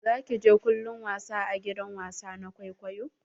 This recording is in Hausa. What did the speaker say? Za ki je kallon wasa a gidan wasa na kwaikwayo?